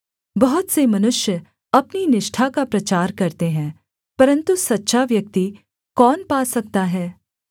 बहुत से मनुष्य अपनी निष्ठा का प्रचार करते हैं परन्तु सच्चा व्यक्ति कौन पा सकता है